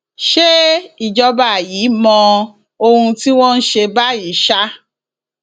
ṣe ìjọba yìí mọ ohun tí wọn ń ṣe báyìí ṣá